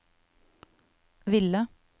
ville